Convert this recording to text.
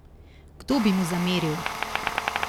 Kdo bi mu zameril?